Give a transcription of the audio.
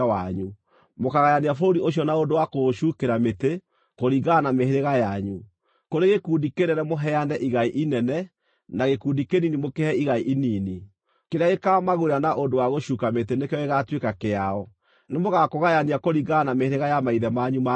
Mũkaagayania bũrũri ũcio na ũndũ wa kũũcukĩra mĩtĩ, kũringana na mĩhĩrĩga yanyu. Kũrĩ gĩkundi kĩnene mũheane igai inene, na gĩkundi kĩnini mũkĩhe igai inini. Kĩrĩa gĩkaamagũĩra na ũndũ wa gũcuuka mĩtĩ nĩkĩo gĩgaatuĩka kĩao. Nĩmũgakũgayania kũringana na mĩhĩrĩga ya maithe manyu ma tene.